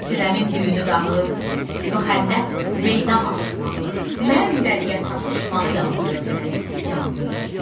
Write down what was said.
Sinəmin düyünü dağı, müxənnət meydan açmağı, mən dəliyə sataşmağı yandırır məni, yandırır.